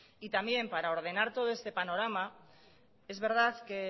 para ordenar todo este panorama es verdad que